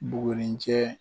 Buguri cɛ